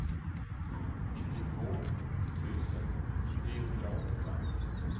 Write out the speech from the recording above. nittiotvå tusen trehundraåttiofem